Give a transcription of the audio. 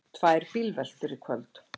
Tvær bílveltur í kvöld